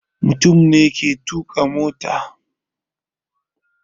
Mutum ne ke tuka mota.